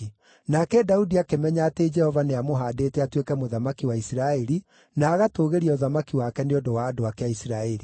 Nake Daudi akĩmenya atĩ Jehova nĩamũhaandĩte atuĩke mũthamaki wa Isiraeli na agatũũgĩria ũthamaki wake nĩ ũndũ wa andũ ake a Isiraeli.